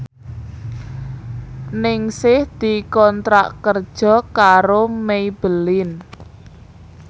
Ningsih dikontrak kerja karo Maybelline